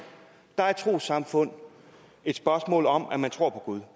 er et trossamfund et spørgsmål om at man tror på gud